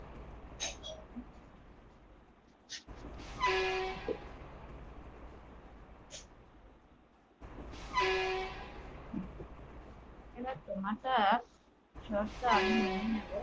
তোমার তো শর্ত আমি মেনে নেবো